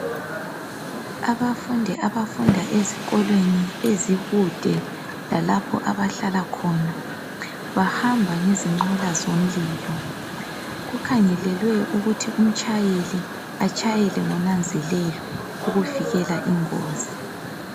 Abafundi abafunda ezikolweni ezikude lalapho abahlala khona, bahamba ngezinqola zomlilo. Kukhangelelwe ukuthi umtshayeli atshayele ngonanzelelo ukuvikela ingozi.